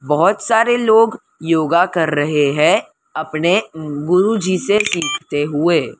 बहोत सारे लोग योगा कर रहे है अपने गुरु जी से सीखते हुए।